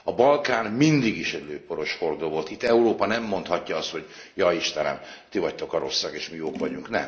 A Balkán mindig is lőporos hordó volt, itt Európa nem mondhatja azt, hogy Jaj, Istenem, ti vagytok a rosszak és mi jók vagyunk!